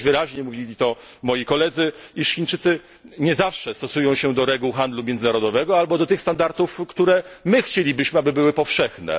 Widać wyraźnie, mówili o tym moi koledzy, iż Chińczycy nie zawsze stosują się do reguł handlu międzynarodowego albo do tych standardów, które my chcielibyśmy, aby były powszechne.